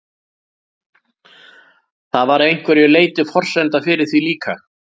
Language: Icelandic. Það var að einhverju leyti forsenda fyrir því líka.